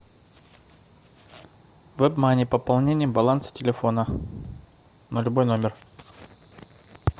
вебмани пополнение баланса телефона на любой номер